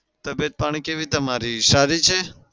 તબિયત પાણી કેવી તમારી સારી છે?